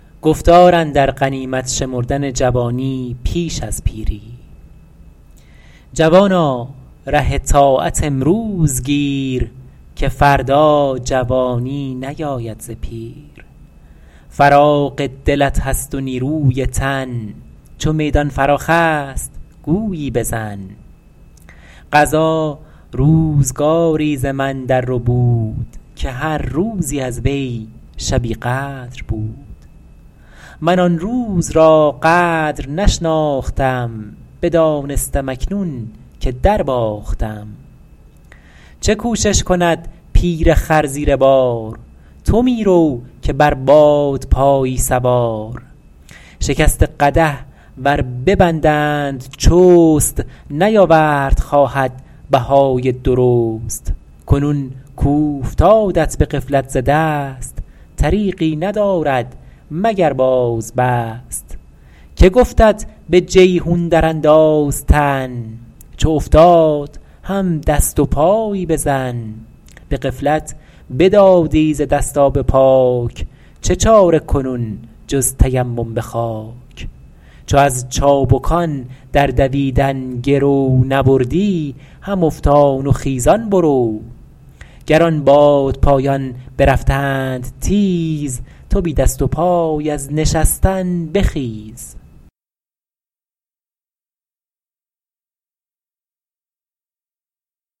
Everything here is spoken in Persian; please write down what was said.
جوانا ره طاعت امروز گیر که فردا جوانی نیاید ز پیر فراغ دلت هست و نیروی تن چو میدان فراخ است گویی بزن قضا روزگاری ز من در ربود که هر روزی از وی شبی قدر بود من آن روز را قدر نشناختم بدانستم اکنون که در باختم چه کوشش کند پیر خر زیر بار تو می رو که بر بادپایی سوار شکسته قدح ور ببندند چست نیاورد خواهد بهای درست کنون کاوفتادت به غفلت ز دست طریقی ندارد مگر باز بست که گفتت به جیحون در انداز تن چو افتاد هم دست و پایی بزن به غفلت بدادی ز دست آب پاک چه چاره کنون جز تیمم به خاک چو از چابکان در دویدن گرو نبردی هم افتان و خیزان برو گر آن بادپایان برفتند تیز تو بی دست و پای از نشستن بخیز